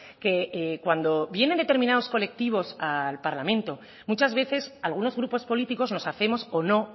que cuando vienen determinados colectivos al parlamento muchas veces algunos grupos políticos nos hacemos o no